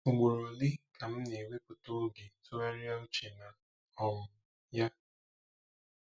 Ugboro ole ka m na-ewepụta oge tụgharịa uche na um ya?